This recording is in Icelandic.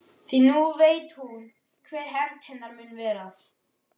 Því nú veit hún hver hefnd hennar mun verða.